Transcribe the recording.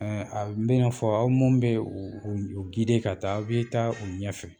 a bɛn'a fɔ aw mun bɛ u u yu ka taa aw bɛ taa u ɲɛfɛ.